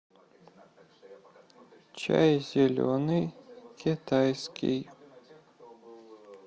чай зеленый китайский